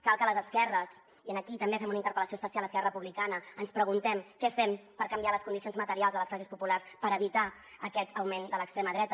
cal que les esquerres i aquí també fem una interpel·lació especial a esquerra republicana ens preguntem què fem per canviar les condicions materials de les classes populars per evitar aquest augment de l’extrema dreta